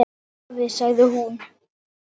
Afi, sagði hún.